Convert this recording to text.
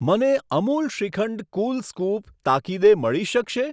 મને અમુલ શ્રીખંડ કુલ સ્કૂપ તાકીદે મળી શકશે?